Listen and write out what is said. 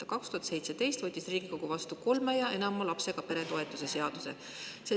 Aastal 2017 Riigikogus vastu võetud seadus, kolme või enama lapsega pere toetus.